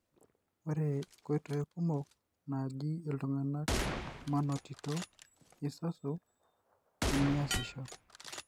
ore nkoitoi kumok najo iltungana manotito asasu nemiasisho.